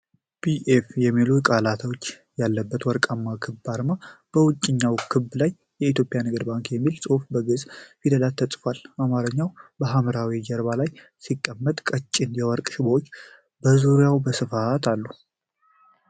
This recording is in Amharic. ቢ.ኤፍ የሚሉ ፊደላት ያለበት ወርቃማ ክብ አርማ። በውጪኛው ክብ ላይ "የኢትዮጵያ ንግድ ባንክ" የሚል ጽሑፍ በግዕዝ ፊደላት ተቀርጿል። አርማው በሐምራዊ ጀርባ ላይ ሲቀመጥ፣ ቀጭን የወርቅ ሽቦዎች በዙሪያው በስፋት አሉ።